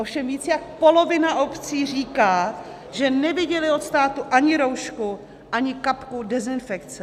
Ovšem víc jak polovina obcí říká, že neviděly od státu ani roušku, ani kapku dezinfekce.